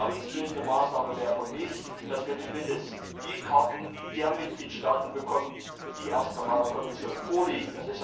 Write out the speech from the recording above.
Vertrauensbildende Maßnahme wäre für mich, dass wir zumindest die Karten der Mitgliedstaaten bekommen, die der Kommission vorliegen.